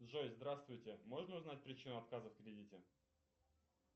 джой здравствуйте можно узнать причину отказа в кредите